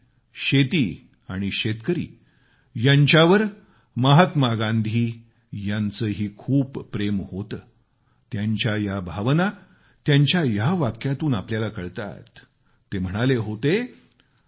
माती शेती आणि शेतकरी यांच्यावर महात्मा गांधी यांचेही खूप प्रेम होते त्यांच्या या भावना त्यांच्या या वाक्यातून आपल्याला कळतात ते म्हणाले होते